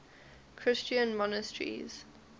christian monasteries